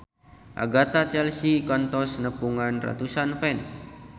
Agatha Chelsea kantos nepungan ratusan fans